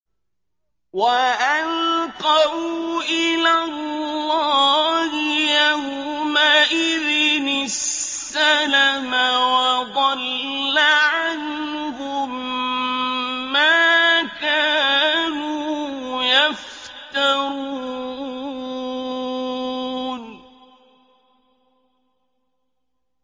وَأَلْقَوْا إِلَى اللَّهِ يَوْمَئِذٍ السَّلَمَ ۖ وَضَلَّ عَنْهُم مَّا كَانُوا يَفْتَرُونَ